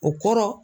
O kɔrɔ